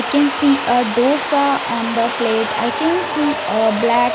we can see a dosa on the plate i can see a black --